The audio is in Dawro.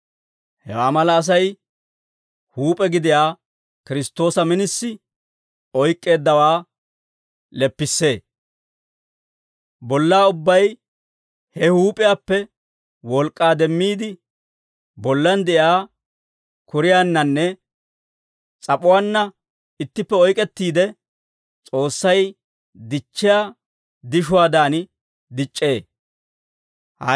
Hewaa mala Asay huup'e gidiyaa Kiristtoosa minisi oyk'k'eeddawaa leppissee. Bollaa ubbay he huup'iyaappe wolk'k'aa demmiide, bollan de'iyaa kuriyaannanne s'ap'uwaanna ittippe oyk'k'ettiide, S'oossay dichchiyaa dishuwaadan dic'c'ee.